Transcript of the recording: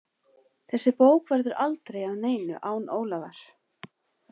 Þessi bók verður aldrei að neinu án Ólafar.